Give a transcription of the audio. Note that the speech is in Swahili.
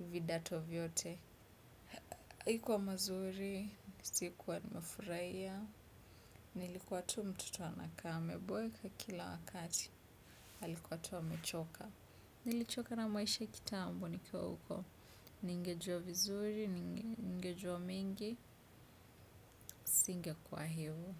vidato vyote haikuwa mazuri, sikuwa nimefurahia nilikuwa tu mtoto anakaa ameboeka kila wakati alikuwa tu amechoka nilichoka na maisha kitambo nikiwa huko ningejua vizuri ningejua mengi singekua hivyo.